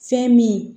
Fɛn min